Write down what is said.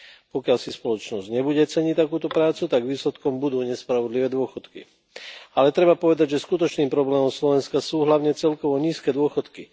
Pokiaľ si spoločnosť nebude ceniť takúto prácu, tak výsledkom budú nespravodlivé dôchodky. Ale treba povedať, že skutočným problémom Slovenska sú hlavne celkovo nízke dôchodky.